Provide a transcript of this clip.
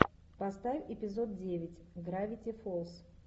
поставь эпизод девять гравити фолз